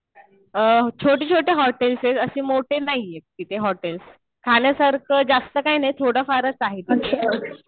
छोटे छोटे हॉटेल्स आहेत. असे मोठे नाहीये तिथे हॉटेल्स. खाण्यासारखं जास्त काही नाही थोडंफारच आहे तिथे.